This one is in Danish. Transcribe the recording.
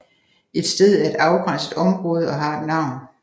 Et sted er et afgrænset område og har et navn